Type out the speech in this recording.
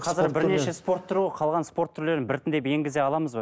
қазір бірнеше спорт түрі ғой қалған спорт түрлерін біртіндеп енгізе аламыз ба